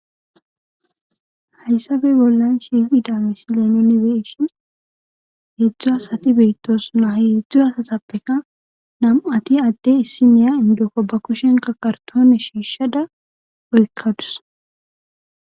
Hayssape bollan shiiqida misile nuuni be7ishin heedzu asati beettosona ha heedzilu asatappeka n7ati adde issinniya inddoko ba kushen karttooone shiishada oykkadus.